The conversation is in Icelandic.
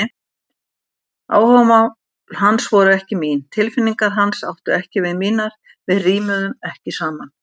Áhugamál hans voru ekki mín, tilfinningar hans áttu ekki við mínar, við rímuðum ekki saman.